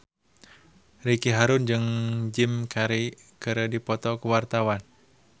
Ricky Harun jeung Jim Carey keur dipoto ku wartawan